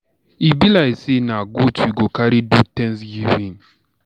E be like say na goat we go carry do Thanksgiving.